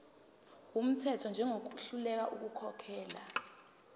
wumthetho njengohluleka ukukhokhela